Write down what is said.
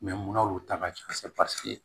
munna olu ta ka ca paseke